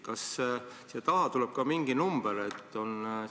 " Kas siia järele tuleb ka mingi number?